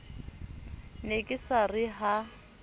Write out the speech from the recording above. ne ke sa re ha